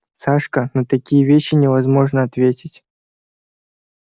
сашка на такие вещи невозможно ответить